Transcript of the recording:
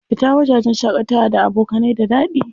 Fita wajajen shaƙatawa da abokanai da daɗi.